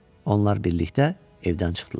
Onlar birlikdə evdən çıxdılar.